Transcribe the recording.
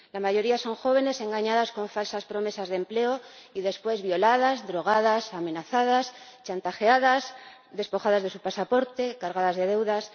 La mayoría son jóvenes engañadas con falsas promesas de empleo y después violadas, drogadas, amenazadas, chantajeadas, despojadas de su pasaporte, cargadas de deudas...